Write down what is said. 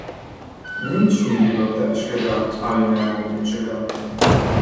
Nič ni bilo težkega ali nemogočega.